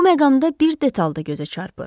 Bu məqamda bir detal da gözə çarpır.